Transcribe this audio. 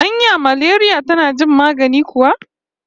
Anya maleriya tana jin magani kuwa?